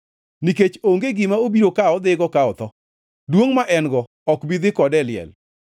nikech onge gima obiro kawo odhigo ka otho, duongʼ ma en-go ok bi dhi kode e liel,